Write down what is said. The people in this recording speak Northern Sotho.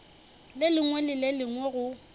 lengwe le le lengwe go